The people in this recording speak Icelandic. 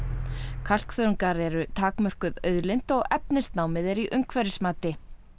kalkþörungar eru takmörkuð auðlind og efnisnámið er í umhverfismati